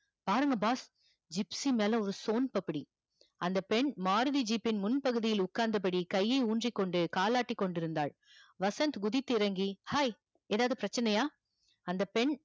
பாருங்க boss gypsy மேல ஒரு சோன்பப்புடி அந்த பெண் மாருதி jeap பின் முன் பகுதியில் உக்காந்தபடி கையை ஊன்றி கொண்டு கால் ஆட்டிக் கொண்டிருந்தால் வசந்த் குதித்து இறங்கி hi எதாவது பிரச்சனையா அந்த பெண்